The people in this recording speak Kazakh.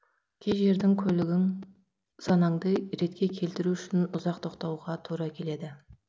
кей жерде көлігің санаңды ретке келтіру үшін ұзақ тоқтауға тура келеді